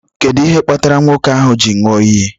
Kedu ihe kpatara nwoke ahu ji nyụọ iyi?